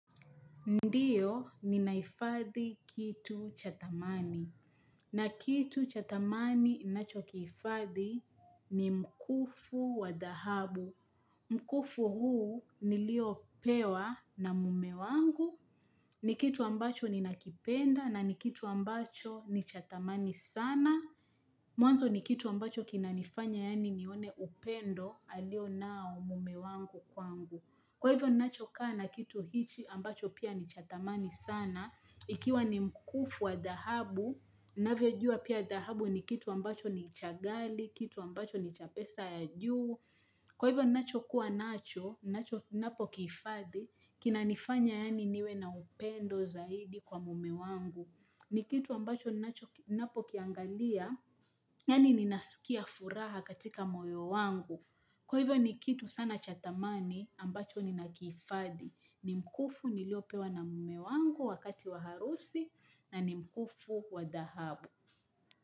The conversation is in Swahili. Ndiyo, ninahifadhi kitu cha thamani. Na kitu cha thamani ninacho kihifadhi ni mkufu wa dahabu. Mkufu huu nilio pewa na mume wangu. Ni kitu ambacho nina kipenda na ni kitu ambacho ni cha thamani sana. Mwanzo ni kitu ambacho kinanifanya yani nione upendo alio nao mume wangu kwangu. Kwa hivyo ninacho kaa na kitu hichi ambacho pia ni cha thamani sana, ikiwa ni mkufu wa dahabu, ninavyo jua pia dahabu ni kitu ambacho ni cha ghali, kitu ambacho ni cha pesa ya juu. Kwa hivyo ninacho kuwa nacho, nacho napo kihifadhi, kina nifanya yani niwe na upendo zaidi kwa mume wangu. Ni kitu ambacho ninacho ninapo kiangalia, yani ninasikia furaha katika moyo wangu. Kwa hivyo ni kitu sana cha thamani ambacho nina kihifadhi ni mkufu niliopewa na mume wangu wakati wa harusi na ni mkufu wa dahabu.